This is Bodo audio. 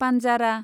पान्जारा